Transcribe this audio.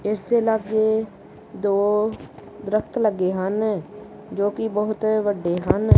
ਇਸ ਦੇ ਲਾਗੇ ਦੋ ਦਰਖਤ ਲੱਗੇ ਹਨ ਜੋ ਕਿ ਬਹੁਤ ਵੱਡੇ ਹਨ।